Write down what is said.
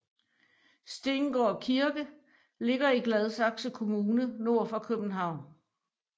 Stengård Kirke ligger i Gladsaxe Kommune nord for København